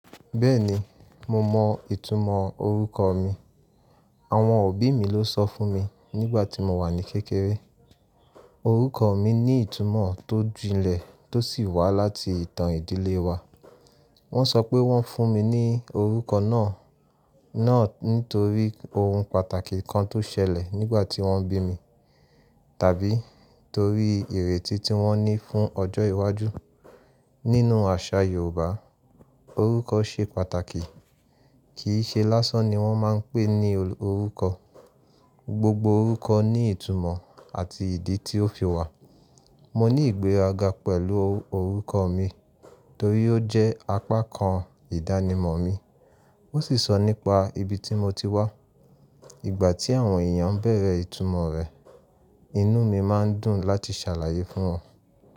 Bẹ́ẹ̀ni, mo mọ ìtumọ̀ orúkọ mi. Àwọn òbí mi ló sọ fún mi nígbà tí mo wà ní kékeré. Orúkọ mi ní ìtumọ̀ tó jinlẹ̀ tó sì wá láti ìtàn ìdílé wa. Wọ́n sọ pé wọ́n fún mi ní orúkọ náà, náà nítorí ohun pàtàkì kan tó ṣẹlẹ̀ nígbà tí wọ́n bí mi, tàbí torí ìrètí tí wọ́n ní fún ọjọ́ iwájú. Nínú àṣà Yorùbá, orúkọ ṣe pàtàkì, kì í ṣe lásán ni wọ́n máa ń pè ní orúkọ. Gbogbo orúkọ ní ìtumọ̀ àti ìdí tí ó fi wà. Mo ní ìgbéraga pẹ̀lú orúkọ mi torí ó jẹ́ apá kan ìdánimọ̀ mi, ó sì sọ nípa ibi tí mo ti wá. Ìgbà tí àwọn èèyàn bẹ̀rẹ̀ ìtumọ̀ rẹ̀, inú mi máa ń dùn láti ṣàlàyé fún wọn.